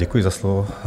Děkuji za slovo.